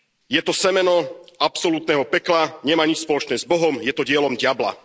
Je to semeno absolútneho pekla, nemá nič spoločné s Bohom, je to dielo diabla.